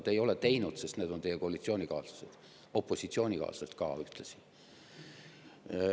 Te ei ole seda teinud, sest need, on ühtlasi teie opositsioonikaaslased.